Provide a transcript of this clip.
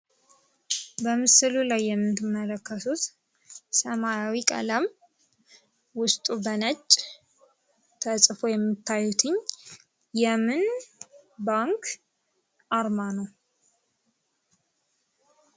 በምስሉ ላይ የምትመለከቱት ሰማያዊ ቀለም ውስጡ በነጭ ተጽፎ የምታዩት የምን ባንክ አርማ ነው?